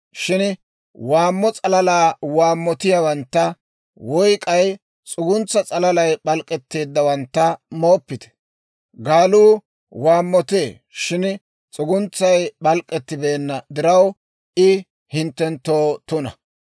Shin waammo s'alalaa waammotiyaawantta woy k'ay s'uguntsaa s'alalay p'alk'k'etteeddawantta mooppite. Gaaluu waammotee shin s'uguntsay p'alk'k'etibeenna diraw I hinttenttoo tuna.